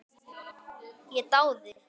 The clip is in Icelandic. Ég dáði